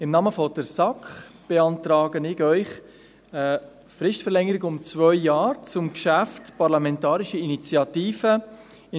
Im Namen der SAK beantrage ich Ihnen eine Fristverlängerung um zwei Jahre zur Parlamentarischen Initiative «